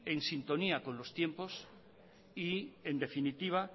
en sintonía con los tiempos y en definitiva